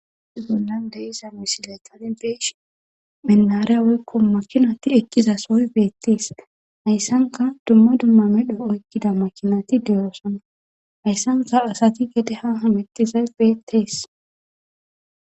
Zuunnan deiza misiley kalinbesh menariya woykko makinati eqqiza sooy beettees hayssanka dumma dumma medho oykkida makinati deyoosana hayssanka asati gede ha hamettizay beettees.